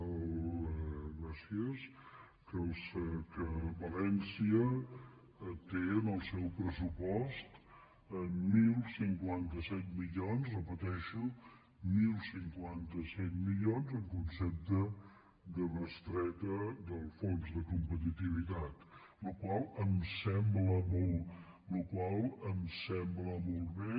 gràcies valència té en el seu pressupost deu cinquanta set milions ho repeteixo deu cinquanta set mili·ons en concepte de bestreta del fons de competitivitat la qual cosa em sembla molt bé